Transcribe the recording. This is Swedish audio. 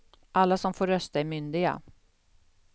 Alla som får rösta är myndiga.